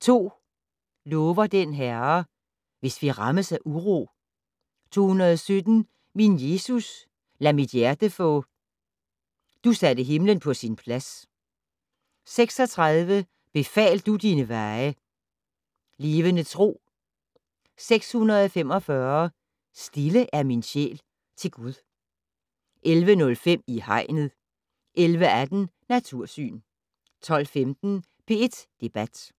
2 "Lover den Herre". "Hvis vi rammes af uro". 217 "Min Jesus, lad mit hjerte få". "Du satte Himlen på sin plads". 36 "Befal du dine veje". "Levende tro". 645 "Stille er min sjæl til Gud". 11:05: I Hegnet 11:18: Natursyn 12:15: P1 Debat